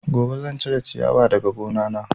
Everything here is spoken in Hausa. Gobe zan cire ciyawa daga gona na